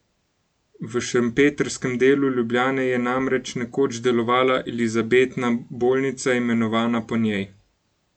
V šempetrskem delu Ljubljane je namreč nekoč delovala Elizabetna bolnica, imenovana po njej.